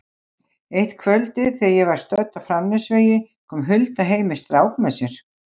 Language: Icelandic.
Eitt kvöldið þegar ég var stödd á Framnesvegi kom Hulda heim með strák með sér.